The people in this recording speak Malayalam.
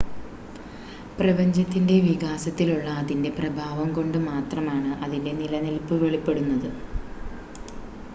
പ്രപഞ്ചത്തിൻ്റെ വികാസത്തിലുള്ള അതിൻ്റെ പ്രഭാവം കൊണ്ട് മാത്രമാണ് അതിൻ്റെ നിലനിൽപ്പ് വെളിപ്പെടുന്നത്